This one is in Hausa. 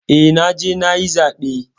Eh, naje nayi zaɓe.